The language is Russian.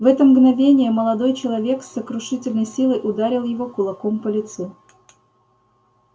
в это мгновение молодой человек с сокрушительной силой ударил его кулаком по лицу